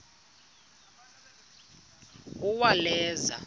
uwaleza